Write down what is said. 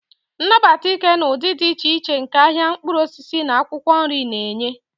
Nabata ike na ụdị dị iche iche nke ahịa mkpụrụ osisi na akwụkwọ nri na-enye.